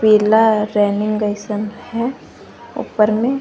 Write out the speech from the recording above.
पीला रेलिंग जइसन है ऊपर में।